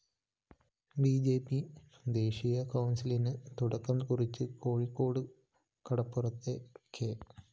B J P ദേശീയ കൗണ്‍സിലിന് തുടക്കം കുറിച്ച് കോഴിക്കോട് കടപ്പുറത്തെ കെ